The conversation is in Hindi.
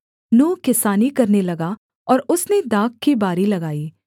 नूह किसानी करने लगा और उसने दाख की बारी लगाई